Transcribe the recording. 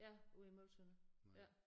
Ja ude i Møgeltønder ja